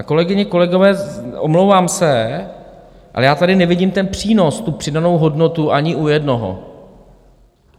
A kolegyně, kolegové, omlouvám se, ale já tady nevidím ten přínos, tu přidanou hodnotu ani u jednoho.